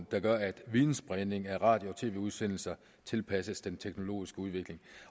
der gør at videnspredning af radio og tv udsendelser tilpasses den teknologiske udvikling